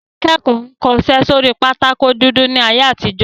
Àwọn akẹ́kọ̀ọ́ kọṣẹ́ sórí pátákó dúdú ní ayé àtijó